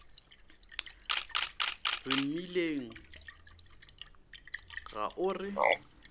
re mmileng ga o re